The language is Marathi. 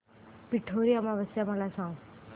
पिठोरी अमावस्या मला सांग